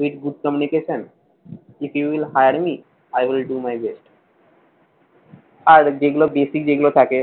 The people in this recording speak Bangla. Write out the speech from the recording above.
with good communication if you will hire me, i will do my best আর যেগুলো basic যেগুলো থাকে